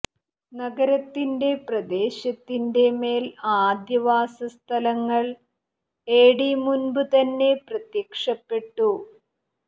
നഗരത്തിന്റെ പ്രദേശത്തിന്റെ മേൽ ആദ്യ വാസസ്ഥലങ്ങൾ എഡി മുൻപുതന്നെ പ്രത്യക്ഷപ്പെട്ടു